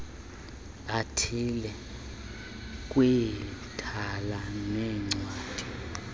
athile kwithala leencwadi